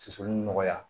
Susuli nɔgɔya